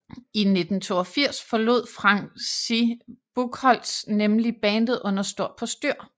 I 1992 forlod Francis Buchholz nemlig bandet under stort postyr